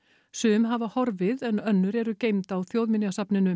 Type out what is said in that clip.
sum hafa horfið en önnur eru geymd á Þjóðminjasafninu